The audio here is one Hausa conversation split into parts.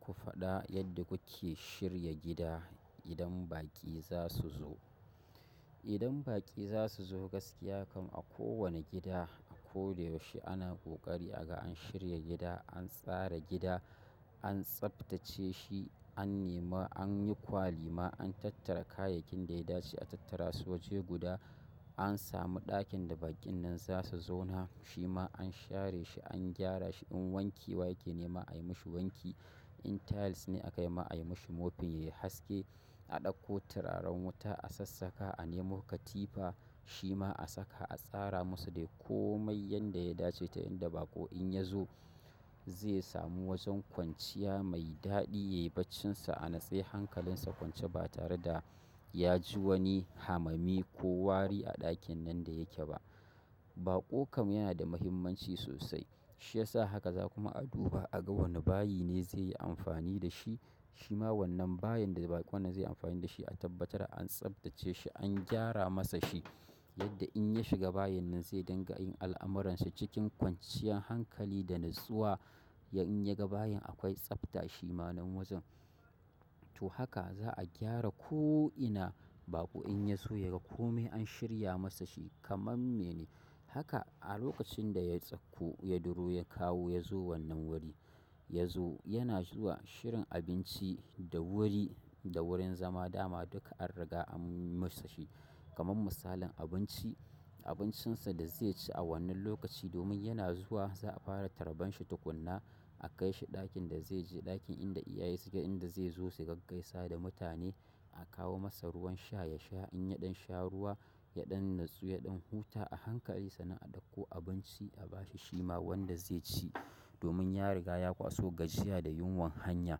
Ku faɗa yadda kuke shirya gida idan baƙi za su zo. Idan baƙi za su zo gaskiya kam a kowane gida a ko da yaushe ana ƙoƙari aga an shirya gida, an tsara gida, an tsabtace shi, an nema, an yi kwali ma, an tattara kayakin da ya dace a tattara. Soje guda an samu ɗakin da baƙin nan za su zauna. Shima an share shi, an gyara shi in wanki wa yake nema ayi mashi wanki. In tiles ne aka yi ma ayi mashi mopin yayi haske. A ɗauko turaren wuta, a sassaƙa, a nemo katifa shima a saka a tsara musu dai komai yanda ya dace ta yanda baƙo in ya zo zai sami wajen kwanciya mai daɗi yayi bacinsa a natsai hankalinsa kwance ba tare da ya ji wani hamami ko wari a ɗakin nan da yake ba. Baƙo kam yanada mafimanci sosai. Shi yasa haka za kuma a duba aga wane bayi ne zai yi amfani da shi. Shima wannan bayin da baƙon nan zai yi amfani da shi a tabbatar an tsabtace shi, an gyara masa shi yadda in ya shiga bayin nan zai dinga yin al'amuransa cikin kwanciyan hankali da natsuwa. In ya ga bayin akwai tsafta shimanen wajen. To haka za a gyara ko ina baƙo in ya zo ya ga kome an shirya masa shi kamar me ne. Haka a lokacin da ya tsakku, ya duro, ya kawo ya zo wannan wuri, ya zo yana zuwa shirin abinci da wuri da wurin zama dama duka an riga an yi masa shi. Kaman misalin abinci, abincinsa da zai ci a wannan lokaci domin yana zuwa za a fara taraban shi tukuna. A kai shi ɗakin da zai je, ɗakin inda iyaye suke inda zai zo su gaggaisa da mutane. A kawo masa ruwan sha ya sha in ya ɗan sha ruwa, ya ɗan natsu, ya ɗan huta a hankali sa nan a ɗauko abinci a bashi shima wanda zai ci domin ya riga ya kwaso gajiya da yunwan hanya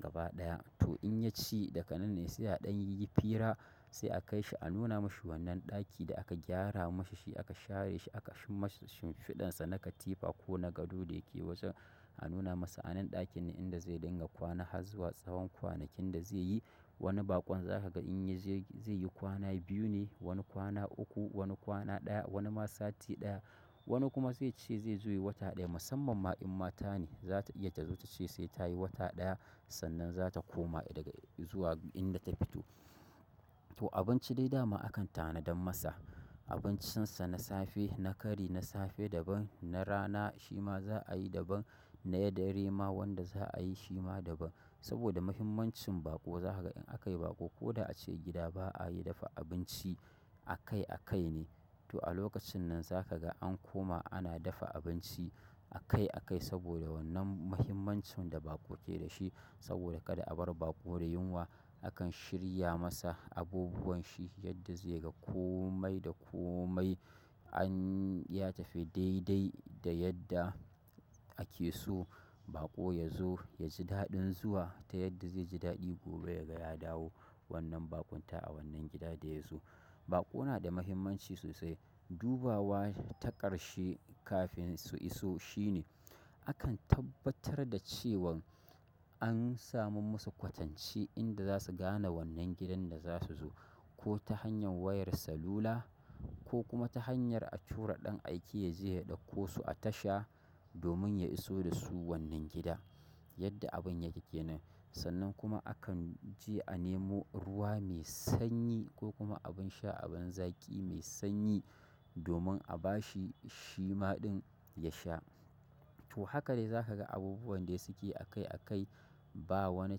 gaba ɗaya. Tau in yaci daganan ne sai a dan yi fira sai a kai shi anuna ma shi wannan ɗaki da aka gyara mashi shi aka share shi aka yimasa shin fida na katifa ko na gado da yake bisa. A nuna masa a nan ɗakin ne inda zai dinga kwana har zuwa tsawon kwanakin da zai yi. Wani baƙon za ka ga in ya je zai yi kwana biyu ne, wani kwana uku, wani kwana ɗaya, wani ma sati ɗaya. Wani kuma zai ce zai zo yi wata ɗaya. Musamman ma in mata ne za ta iya ta zo ta ce sai ta yi wata ɗaya sannan za ta koma daga zuwa inda ta fito. To abinci dai dama akan tanadan masa. Abincinsa na safe, na kari, na safe daban, na rana shima za a yi daban, na ya dare ma wanda za a yi shi ma daban. Saboda muhimmancin baƙo za ka ga in aka yi baƙo ko da a ce gida ba a yi dafa abinci a kai a kai ne. To a lokacin nan za ka ga an koma ana dafa abinci a kai a kai saboda wannan muhimmancin da baƙo ke da shi. Saboda kada a bar baƙo da yunwa akan shirya masa abubuwan shi yadda zai ga kome da kome an ya tafi dai dai da yadda ake so baƙo ya zo ya ji daɗin zuwa ta yadda zai ji daɗi gobe ya ga ya dawo wannan baƙunta a wannan gida da ya zo. Baƙo na da muhimmanci sosai. Dubawa ta ƙarshe kafin su iso shine. Akan tabbatar da cewan an sami musu kwatanci inda za su gane wannan gidan da za su zo ko ta hanyar wayar salula ko kuma ta hanyar a tura ɗan aiki ya je ya ɗauko su a tasha domin ya iso da su wannan gida yadda abin yake kenan. Sannan kuma akan je a nemo ruwa mai sanyi ko kuma abin sha abin zaki mai sanyi domin a bashi shima ɗin ya sha. Tau haka dai zaka abubuwan dasuke akai akai ba wani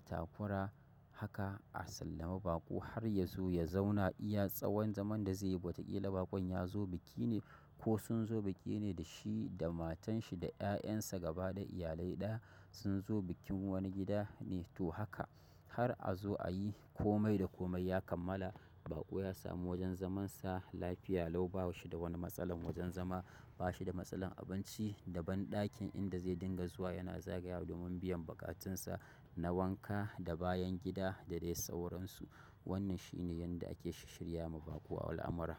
takura haka a salami baƙo har yazo ya zauna iya sawon zaman da zaiyi wata ƙila baƙon ya zo biki ne ko sun zo biki ne da shi da matan shi da 'ya'yan sa gaba da iyalai ɗaya sun zo bikin wani gida ne. To haka har a zo a yi kome da kome ya kammala baƙo ya samu wajen zamansa lafiya lau ba shi da wani matsala wajen zama, ba shi da matsalar abinci daban ɗakin inda zai dinga zuwa yana zagaya domin biyan bukatunsa na wanka da bayan gida da dai sauransu. Wannan shi ne yanda ake shishirya ma baƙo al'amara.